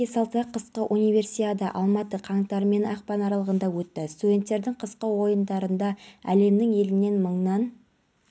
тазалық сақшылары осы аумақтан көп ұзамай тағы бір опай-топайы шыққан аулаға беттеді жекеменшік фирма жұмысшылары өз